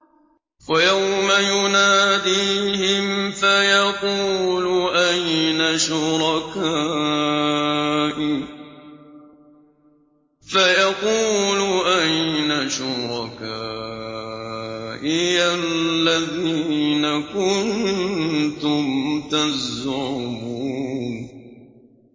وَيَوْمَ يُنَادِيهِمْ فَيَقُولُ أَيْنَ شُرَكَائِيَ الَّذِينَ كُنتُمْ تَزْعُمُونَ